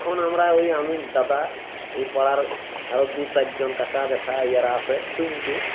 এখন আমরা ঐ আমি দাদা এ পাড়ার আরও দুচার জন কাকা জ্যাঠা ইরা আসে শুইনতে